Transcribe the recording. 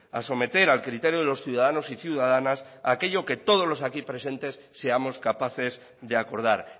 a someter al criterio de los ciudadanos y ciudadanas aquello que todos los aquí presentes seamos capaces de acordar